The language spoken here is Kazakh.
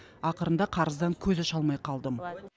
ақырында қарыздан көз аша алмай қалдым